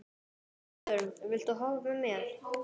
Ásvarður, viltu hoppa með mér?